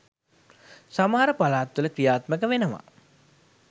සමහර පලාත් වල ක්‍රියාත්මක වෙනවා.